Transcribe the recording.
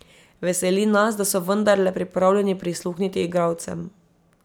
Veseli nas, da so vendarle pripravljeni prisluhniti igralcem.